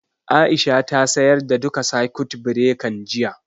Aisha ta sayar da duka sakut birekan, jiya